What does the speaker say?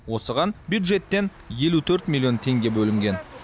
осыған бюджеттен елу төрт миллион теңге бөлінген